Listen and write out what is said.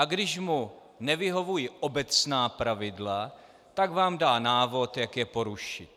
A když mu nevyhovují obecná pravidla, tak vám dá návod, jak je porušit.